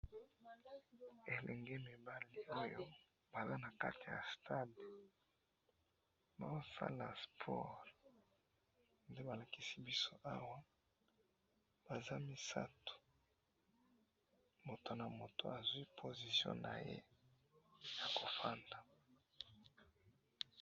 Ba elenge mibali oyo, Baza nakati ya stade, bazosala sport, nde balakisi biso awa, Baza misatu, mutu na mutu azwi position naye, yakovanda.